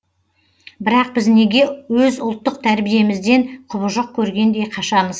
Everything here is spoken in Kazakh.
бірақ біз неге өз ұлттық тәрбиемізден құбыжық көргендей қашамыз